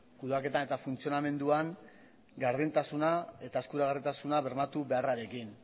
kudeaketan eta funtzionamenduan gardentasuna eta eskuragarritasuna bermatu beharrarekin